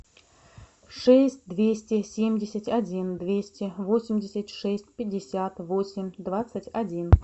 шесть двести семьдесят один двести восемьдесят шесть пятьдесят восемь двадцать один